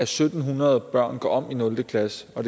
syv hundrede børn går om i nul klasse og